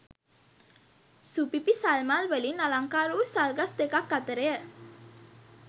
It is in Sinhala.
සුපිපි සල්මල්වලින් අලංකාර වූ සල්ගස් දෙකක් අතරය.